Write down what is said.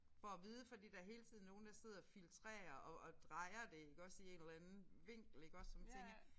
For at vide fordi der hele tiden nogen der sidder og filtrerer og og drejer det iggås i en eller anden vinkel iggås så man tænker